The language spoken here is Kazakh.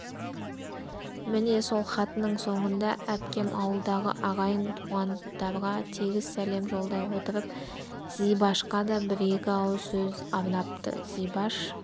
міне сол хатының соңында әпкем ауылдағы ағайын-туғандарға тегіс сәлем жолдай отырып зибашқа да бір-екі ауыз сөз арнапты зибаш